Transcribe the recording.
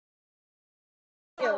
Allt í einu heyrðum við hljóð.